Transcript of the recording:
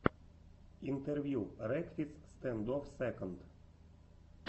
интервью рекфиц стэндофф сэконд